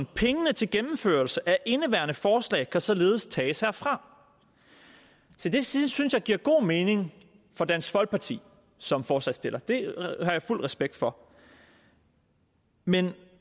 pengene til gennemførelse af indeværende forslag kan således tages herfra det synes synes jeg giver god mening for dansk folkeparti som forslagsstiller det har jeg fuld respekt for men